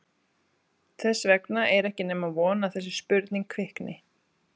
Þess vegna er ekki nema von að þessi spurning kvikni.